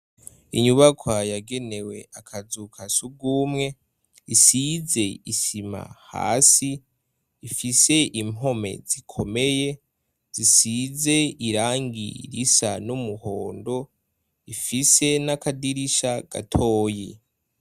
Inyubakwa yagenewe akazu ka sugumwe isize isima hasi, ifise impome zikomeye zisize irangi risa n'umuhondo ifise n'akadirisha gatoyi.